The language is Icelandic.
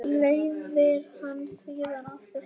Leiðir hana síðan aftur heim.